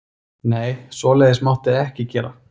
Nei, svoleiðis mátti ekki gera.